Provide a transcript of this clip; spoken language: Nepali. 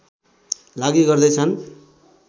लागि गर्दै छन्